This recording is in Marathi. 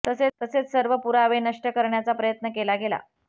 तसेच सर्व पुरावे नष्ट करण्याचा प्रयत्न केला गेला